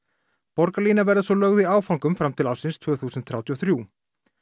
borgarlína verður svo lögð í áföngum fram til ársins tvö þúsund þrjátíu og þrjú